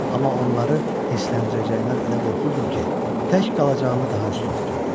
Amma onları hissələndirəcəyimdən elə qorxurdum ki, tək qalacağımı daha üstün tuturdum.